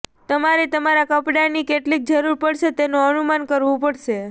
તમારે તમારા કપડાંની કેટલી જરૂર પડશે તેનું અનુમાન કરવું પડશે